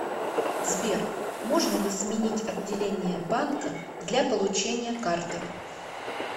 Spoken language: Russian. сбер можно ли сменить отделение банка для получения карты